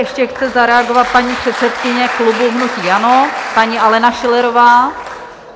Ještě chce zareagovat paní předsedkyně klubu hnutí ANO, paní Alena Schillerová.